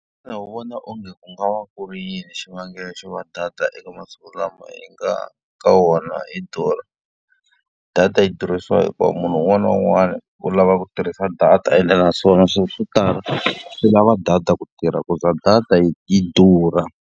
Xana u vona onge ku nga va ku ri yini xivangelo xo va data eka masiku lama hi nga ka wona ri durha? Data yi durhisa hikuva munhu un'wana na un'wana u lava ku tirhisa data ende naswona swilo swo tala swi lava data ku tirha ku za data yi yi durha.